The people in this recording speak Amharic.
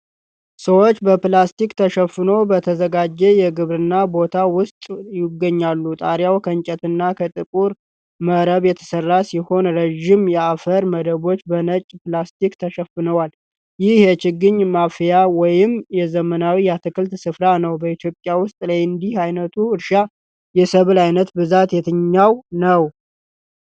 ሰዎች በፕላስቲክ ተሸፍኖ በተዘጋጀ የግብርና ቦታ ውስጥ ይገኛሉ። ጣሪያው ከእንጨትና ከጥቁር መረብ የተሰራ ሲሆን፣ ረዥም የአፈር መደቦች በነጭ ፕላስቲክ ተሸፍነዋል። ይህ የችግኝ ማፍያ ወይም የዘመናዊ የአትክልት ስፍራ ነው። በኢትዮጵያ ውስጥ ለእንዲህ ዓይነቱ እርሻ የሰብል ዓይነት በብዛት የትኛው ነው?